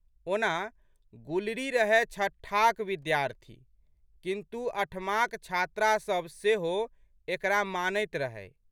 ओना, गुलरी रहए छठाक विद्यार्थी किन्तु अठमाक छात्रासब सेहो एकरा मानैत रहै।